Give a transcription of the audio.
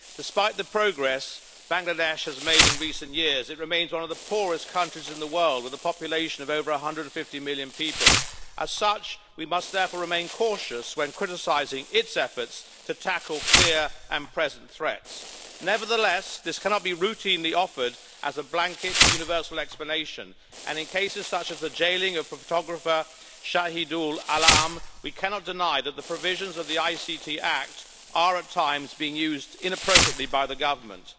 Despite the progress Bangladesh has made in recent years, it remains one of the poorest countries in the world, with a population of over 150 million people. As such, we must therefore remain cautious when criticising its efforts to tackle clear and present threats. Nevertheless, this cannot be routinely offered as a blanket universal explanation, and in cases such as the jailing of the photographer Shahidul Alam we cannot deny that the provisions of the Information and Communication Technology Act are, at times, being used inappropriately by the government.